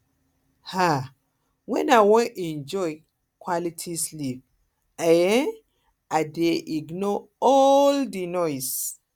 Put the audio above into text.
um wen i wan enjoy um quality sleep i um dey ignore all ignore all di noise